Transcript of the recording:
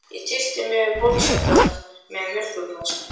Ég tyllti mér við borðsendann með mjólkurglas.